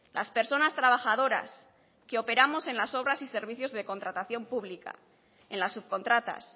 las personas trabajadoras que operamos en las obras y servicios de contratación pública en las subcontratas